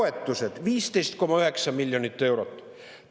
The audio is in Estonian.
Ahjutoetused – 15,9 miljonit eurot.